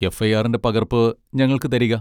എഫ്.ഐ.ആറിന്റെ പകർപ്പ് ഞങ്ങൾക്ക് തരിക.